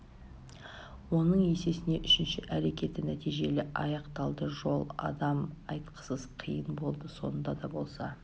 оның есесіне үшінші әрекеті нәтижелі аяқталды жол адам айтқысыз қиын болды сонда да болса